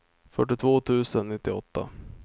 fyrtiotvå tusen nittioåtta